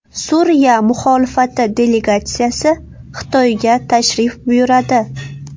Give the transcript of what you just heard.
Suriya muxolifati delegatsiyasi Xitoyga tashrif buyuradi.